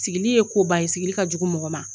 Sigili ye koba ye sigili ka jugu mɔgɔ ma